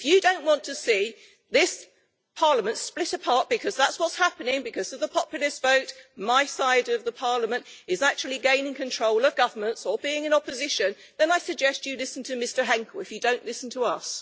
If you do not want to see this Parliament split apart because that is what is happening because of the populist vote my side of the Parliament is actually gaining control of governments or being in opposition then I suggest you listen to Mr Henkel if you don't listen to us.